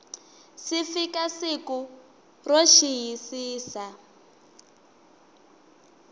si fika siku ro xiyisisa